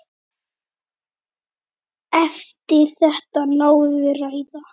Eftir þetta náði ræða